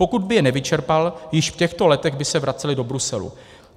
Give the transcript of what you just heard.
Pokud by je nevyčerpal, již v těchto letech by se vracely do Bruselu.